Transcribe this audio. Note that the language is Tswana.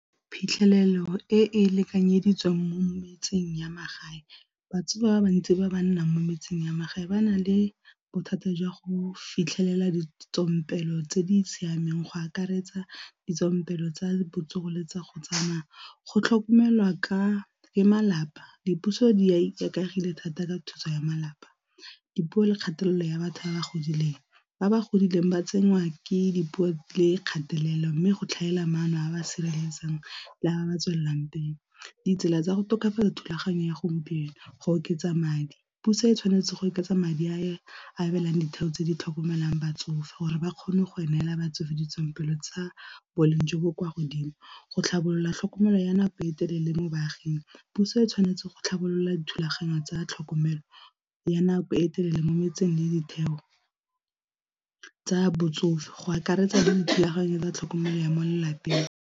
Phitlhelelo e e lekanyeditsweng mo metseng ya magae ba bantsi ba ba nnang mo metseng ya magae ba na le bothata jwa go fitlhelela ditswampelo tse di siameng, go akaretsa ditswampelo tsa botsogo le tsa go tsamaya. Go tlhokomelwa ke malapa dipuso di ikaegile thata ka thuso ya malapa, dipuo le kgatelelo ya batho ba ba godileng ba ba godileng ba tsenngwa ke dipuo le kgatelelo mme go tlhaela maano a ba siametseng la ba ba tswelelang . Ditsela tsa go tokafatsa thulaganyo ya gompieno go oketsa madi, puso e tshwanetse go oketsa madi a abelang ditheo tse di tlhokomelang batsofe gore ba kgone go emela batsofe ditswampelo tsa boleng jo bo kwa godimo, go tlhabolola tlhokomelo ya nako e telele mo baaging, puso e tshwanetse go tlhabolola dithulaganyo tsa tlhokomelo ya nako e telele mo metseng le ditheo tsa botsofe go akaretsa le dithulaganyo tsa tlhokomelo ya mo lelapeng.